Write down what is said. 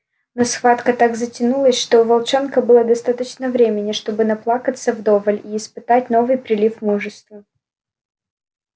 но схватка так затянулась что у волчонка было достаточно времени чтобы наплакаться вдоволь и испытать новый прилив мужества